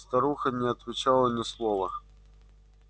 старуха не отвечала ни слова